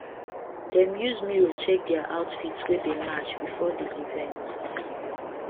them use mirror check their outfits wae dae match before the event